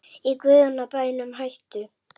Í guðanna bænum hættu